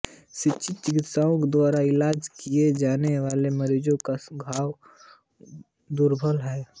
प्रशिक्षित चिकित्सकों द्वारा इलाज किए जाने वाले मरीज़ों में घाव दुर्लभ हैं